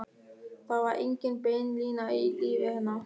Það var engin bein lína í lífi hennar.